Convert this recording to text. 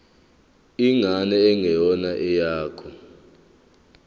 ingane engeyona eyakho